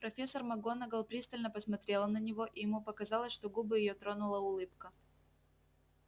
профессор макгонагалл пристально помотрела на него и ему показалось что губы её тронула улыбка